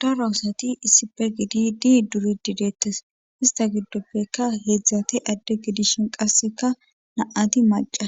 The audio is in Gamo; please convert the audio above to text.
daro asati issife gididi duridi deettes ista giddoppekka heedzdzate adde gidishin qasseka na'ati maca